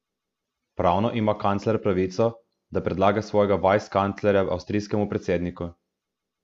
Pravno ima kancler pravico, da predlaga svojega vicekanclerja avstrijskemu predsedniku.